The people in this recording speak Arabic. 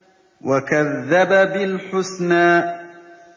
وَكَذَّبَ بِالْحُسْنَىٰ